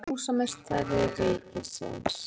Samúelsson, húsameistari ríkisins.